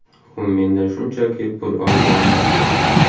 U mendan shunchaki pul olgandi.